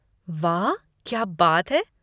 वाह! क्या बात है।